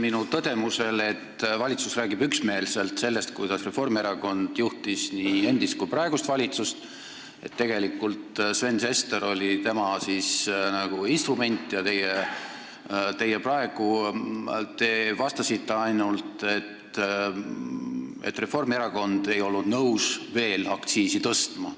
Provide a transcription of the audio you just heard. Minu tõdemusele, et valitsus räägib üksmeelselt sellest, kuidas Reformierakond juhtis nii endist kui juhib ka praegust valitsust ja Sven Sester oli tegelikult tema instrument, te vastasite ainult, et Reformierakond ei olnud nõus veel aktsiisi tõstma.